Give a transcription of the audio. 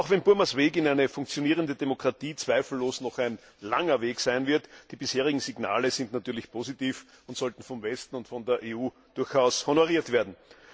Auch wenn Burmas Weg in eine funktionierende Demokratie zweifellos noch ein langer Weg sein wird die bisherigen Signale sind natürlich positiv und sollten vom Westen und von der EU durchaus honoriert werden.